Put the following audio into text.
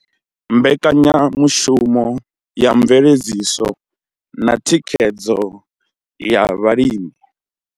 Mbekanyamushumo ya mveledziso na thikhedzo ya vhalimi.